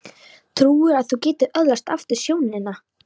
Trúirðu að þú getir öðlast aftur sjónina?